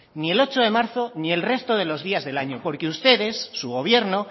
ni el ocho de marzo ni el resto de los días del año porque ustedes su gobierno